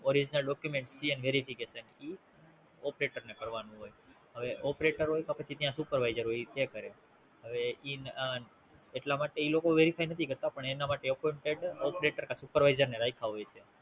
Original documentPN Verification ઈ Operator ને કરવાનું હોય હવે Operator હોય તો પછી ત્યાં Supervisor હોય ઈ તે કરે હવે ઈ એટલા માટે ઈ લોકો Verify નથી કરતા પણ એના માટે Operator કે Supervisor ને રાયખા હોય છે